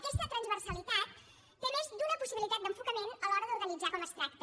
aquesta transversalitat té més d’una possibilitat d’enfocament a l’hora d’organitzar com es tracta